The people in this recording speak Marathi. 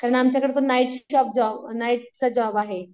सगळं आमच्याकडे नाईट नाईटचा जॉब आहे.